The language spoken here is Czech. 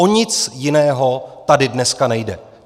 O nic jiného tady dneska nejde!